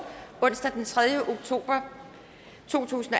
onsdag den tredje oktober to tusind